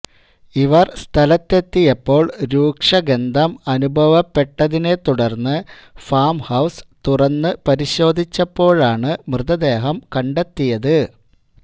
ഇവർ സ്ഥലത്തെത്തിയപ്പോൾ രൂക്ഷ ഗന്ധം അനുഭവപ്പെട്ടതിനെ തുടർന്ന് ഫാം ഹൌസ് തുറന്ന് പരിശോധിച്ചപ്പോഴാണ് മൃതദേഹം കണ്ടെത്തിയത്